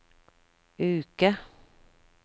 uke